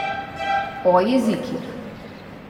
O jezikih.